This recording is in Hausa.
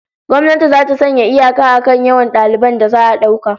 Gwamnati zata sanya iyaka akan yawan daliban da za'a dauka